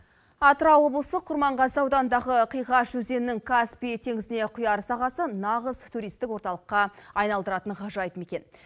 атырау облысы құрманғазы ауданындағы қиғаш өзенінің каспий теңізіне құяр сағасы нағыз туристік орталыққа айналдыратын ғажайып мекен